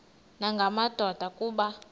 nanga madoda kuba